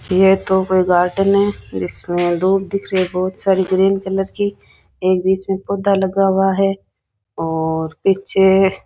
यह तो कोई गार्डन है इसमें दूब दिख रही हैं बहुत सारी ग्रीन कलर की एक बीच में पौधा लगा हुआ है और पीछे --